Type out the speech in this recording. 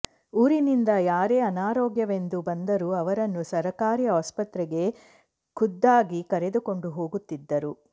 ಊರಿನಿಂದ ಯಾರೇ ಅನಾರೋಗ್ಯವೆಂದು ಬಂದರೂ ಅವರನ್ನು ಸರ್ಕಾರಿ ಆಸ್ಪತ್ರೆಗೆ ಖುದ್ದಾಗಿ ಕರೆದುಕೊಂಡು ಹೋಗುತ್ತಿದ್ದರು